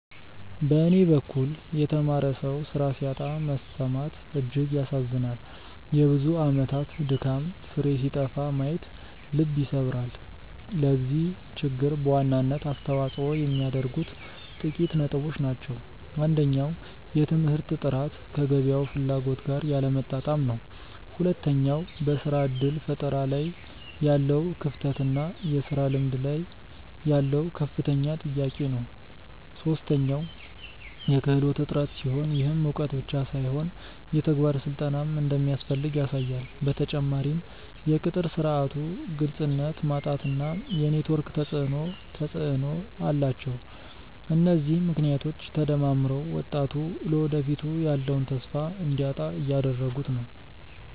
በኔ በኩል የተማረ ሰው ስራ ሲያጣ መሰማት እጅግ ያሳዝናል የብዙ አመታት ድካም ፍሬ ሲጠፋ ማየት ልብ ይሰብራል። ለዚህ ችግር በዋናነት አስተዋጽኦ የሚያደርጉት ጥቂት ነጥቦች ናቸው። አንደኛው የትምህርት ጥራት ከገበያው ፍላጎት ጋር ያለመጣጣም ነው። ሁለተኛው በስራ እድል ፈጠራ ላይ ያለው ክፍተት እና የስራ ልምድ ላይ ያለው ከፍተኛ ጥያቄ ነው። ሶስተኛው የክህሎት እጥረት ሲሆን፣ ይህም እውቀት ብቻ ሳይሆን የተግባር ስልጠናም እንደሚያስፈልግ ያሳያል። በተጨማሪም የቅጥር ስርዓቱ ግልጽነት ማጣት እና የኔትወርክ ተፅእኖ ተፅእኖ አላቸው። እነዚህ ምክንያቶች ተደማምረው ወጣቱ ለወደፊቱ ያለውን ተስፋ እንዲያጣ እያደረጉት ነው።